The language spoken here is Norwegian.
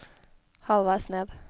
halvveis ned